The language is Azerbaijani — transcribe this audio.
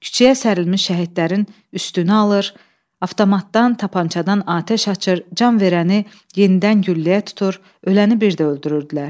Kiçəyə sərilmiş şəhidlərin üstünə alır, avtomatdan, tapançadan atəş açır, can verəni yenidən gülləyə tutur, öləni bir də öldürürdülər.